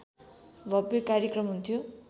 भब्य कार्यक्रम हुन्थ्यो